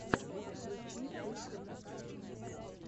включи тессу брукс